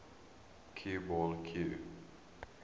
cue ball cue